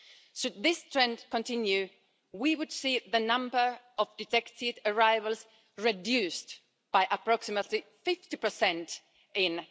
Should this trend continue, we would see the number of detected arrivals reduced by approximately 50 in